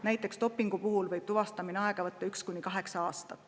Näiteks dopingu puhul võib tuvastamine aega võtta üks kuni kaheksa aastat.